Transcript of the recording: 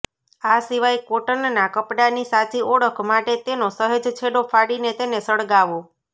આ સિવાય કોટનના કપડાની સાચી ઓળખ માટે તેનો સહેજ છેડો ફાડીને તેને સળગાવો